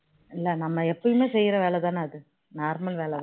இல்ல நம்ம எப்பவுமே செய்ற வேலை தானே அது normal தானே